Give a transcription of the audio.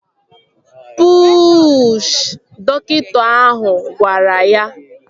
Puuuuuushị! Dọkịta ahụ gwara ya